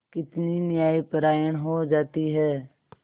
कितनी न्यायपरायण हो जाती है